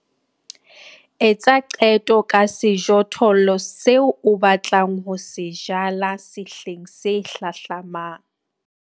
Etsa qeto ka sejothollo seo o batlang ho se jala sehleng se hlahlamang.